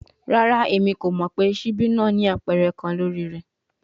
Rara, Emi ko mọ pe sibi naa ni apẹrẹ kan lori rẹ